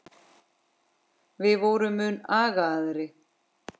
Við vorum mun agaðri.